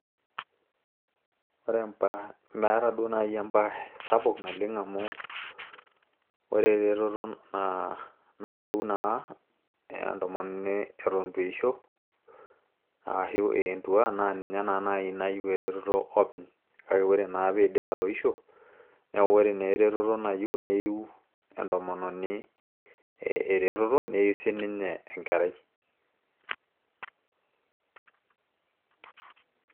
ore empash, meeta duo naaji empaash sapuuk naleng amu ore eretoto nayieu naa entomononi eton itu eisho aashu ee entua naa ninye naa naaji nayieu eretoto openy kake ore naa piidip atoisho neku naa ore eretoto nayieu neiu entomononi eretoto neyieu siininye enkerai.